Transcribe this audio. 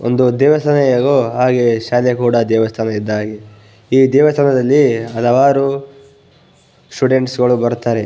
ಒಂದು ದೇವಸ್ಥಾನ ಹೇಗೋ ಹಾಗೆ ಶಾಲೆ ಕೂಡ ದೇವಸ್ಥಾನ ಇದ್ದ ಹಾಗೆ ಈ ದೇವಸ್ಥಾನದಲ್ಲಿ ಹಲವಾರು ಸ್ಟುಡೆಂಟ್ಸ್ಗ ಳು ಬರುತ್ತಾರೆ .